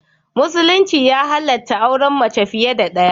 Musulunci ya halatta auren mace fiye da daya.